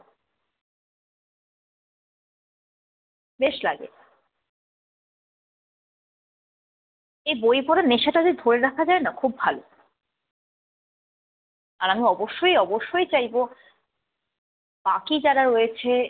বেশ লাগে। এই বই পড়ার নেশাটা যদি ধরে রাখা যায় না খুব ভাল। আর আমি অবশ্যই অবশ্যই চাইব বাকি যারা রয়েছে